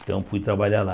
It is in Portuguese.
Então fui trabalhar lá.